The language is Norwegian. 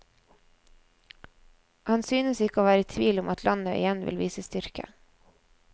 Han synes ikke å være i tvil om at landet igjen vil vise styrke.